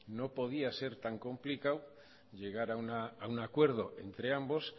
no podía ser tan complicado llegar a un acuerdo entre ambos